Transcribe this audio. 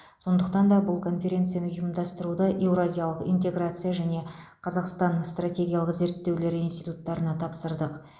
сондықтан да бұл конференцияны ұйымдастыруды еуразиялық интеграция және қазақстан стратегиялық зерттеулер институттарына тапсырдық